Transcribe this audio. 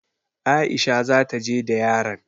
Aisha za ta je da yaran.